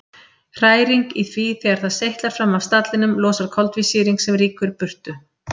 Hræring í því þegar það seytlar fram af stallinum losar koltvísýring sem rýkur burtu.